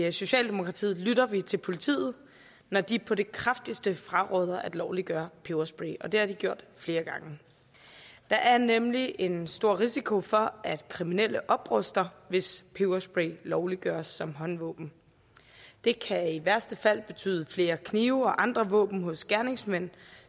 i socialdemokratiet lytter vi til politiet når de på det kraftigste fraråder at lovliggøre peberspray og det har de gjort flere gange der er nemlig en stor risiko for at kriminelle opruster hvis peberspray lovliggøres som håndvåben det kan i værste fald betyde flere knive og andre våben hos gerningsmænd